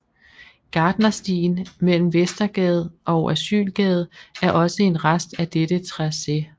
Gartnerstien mellem Vestergade og Asylgade er også en rest af dette tracé